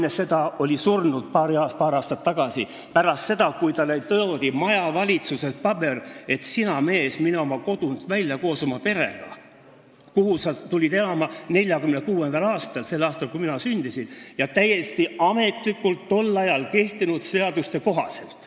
Isa oli paar aastat enne seda surnud – pärast seda, kui talle toodi majavalitsusest paber, et sina, mees, mine koos oma perega oma kodunt välja, oma kodunt, kuhu sa tulid elama 1946. aastal – sel aastal, kui mina sündisin –, ja seda täiesti ametlikult tol ajal kehtinud seaduste kohaselt.